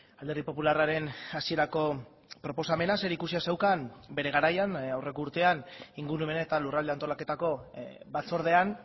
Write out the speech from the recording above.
alderdi popularraren hasierako proposamena zerikusia zeukan bere garaian aurreko urtean ingurumen eta lurralde antolaketako batzordean